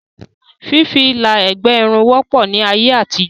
Fífi sí Ilà ẹ̀gbẹ́ Irun wọ́pọ̀ ní ayé àtijọ́